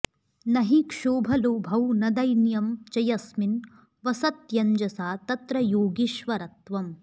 नहि क्षोभलोभौ न दैन्यं च यस्मिन् वसत्यञ्जसा तत्र योगीश्वरत्वम्